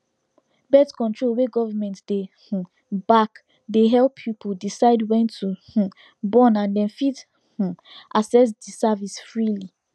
birth control wey government dey um back dey help people decide when to um born and dem fit um access the service freely